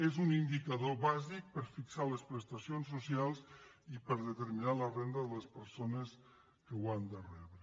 és un indicador bàsic per fixar les prestacions socials i per determinar la renda de les persones que l’han de rebre